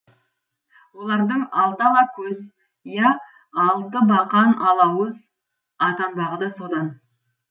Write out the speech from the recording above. олардың алты ала көз я алты бақан алауыз атанбағы да содан